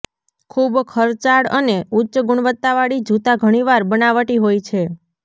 ખૂબ ખર્ચાળ અને ઉચ્ચ ગુણવત્તાવાળી જૂતા ઘણીવાર બનાવટી હોય છે